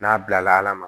N'a bilala ala ma